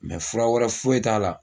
fura wɛrɛ foyi t'a la